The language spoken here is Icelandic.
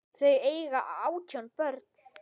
Þau eiga átján börn.